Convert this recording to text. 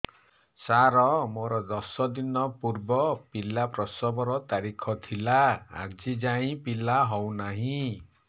ସାର ମୋର ଦଶ ଦିନ ପୂର୍ବ ପିଲା ପ୍ରସଵ ର ତାରିଖ ଥିଲା ଆଜି ଯାଇଁ ପିଲା ହଉ ନାହିଁ